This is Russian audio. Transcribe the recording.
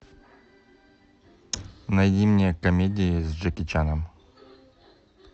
найди мне комедии с джеки чаном